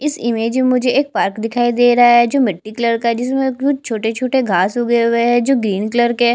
इस इमेज में मुझे एक पार्क दिखाई दे रहा है जो मिट्टी कलर का है जिसमे कुछ घास उग्गे हुए है जो ग्रीन कलर के है।